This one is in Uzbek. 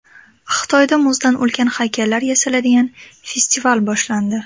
Xitoyda muzdan ulkan haykallar yasaladigan festival boshlandi .